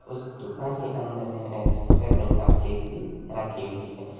उस दुकान के अंदर में एक सफेद रंग का फ्रिज भी रखी हुई है।